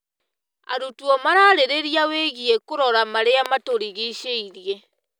Arutwo mararĩrĩria wĩgiĩ kũrora marĩa matũrigicĩirie.